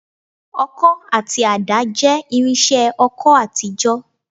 Ọkọ́ àti àdá jẹ́ irinṣẹ́ oko àtijọ́